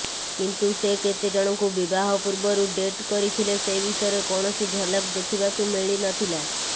କିନ୍ତୁ ସେ କେତେଜଣଙ୍କୁ ବିବାହ ପୂର୍ବରୁ ଡେଟ୍ କରିଥିଲେ ସେ ବିଷୟରେ କୌଣସି ଝଲକ ଦେଖିବାକୁ ମିଳି ନଥିଲା